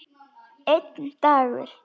Einn dagur!